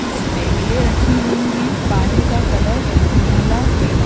कुछ टेबिले रखी हुई हैं| पानी का कलर नीला है।